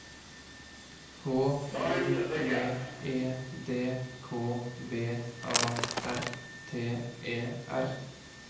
H O V E D K V A R T E R